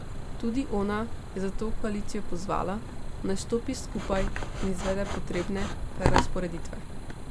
Tudi ona je zato koalicijo pozvala, naj stopi skupaj in izvede potrebne prerazporeditve.